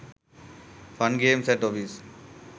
fun games at office